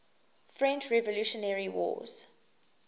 french revolutionary wars